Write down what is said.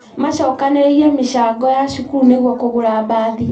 Macokanĩrĩirie mĩcango ya cukuru nĩguo kũgũra mbathi